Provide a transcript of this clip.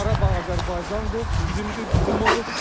Qarabağ Azərbaycandır, bizimdir, bizim olub.